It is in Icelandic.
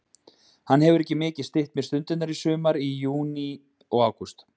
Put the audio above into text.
Hann hefur mikið stytt mér stundirnar í sumar, í júní og ágúst.